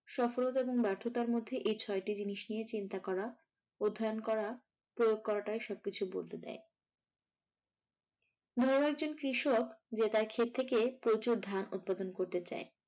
সফলতা এবং ব্যার্থতার মধ্যে এই ছটা জিনিস নিয়ে চিন্তা করা, অধ্যয়ন করা, প্রয়োগ করাটাই সবকিছু বদলে দেয়। ধরো একজন কৃষক যে তার খেত থেকে প্রচুর ধান উৎপাদন করতে চায়।